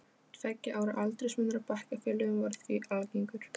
Tveggja ára aldursmunur á bekkjarfélögum var því algengur.